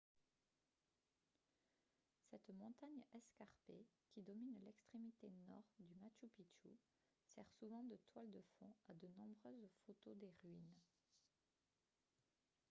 cette montagne escarpée qui domine l'extrémité nord du machu picchu sert souvent de toile de fond à de nombreuses photos des ruines